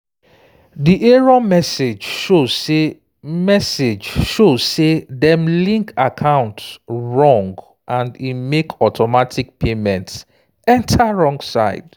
di error message show say message show say dem link account wrong and e make automatic payments enter wrong side